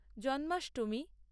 Janmashtami